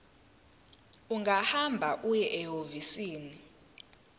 ungahamba uye ehhovisi